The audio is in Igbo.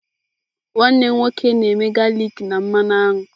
Nwanne m nwoke na-eme galik na mmanụ aṅụ.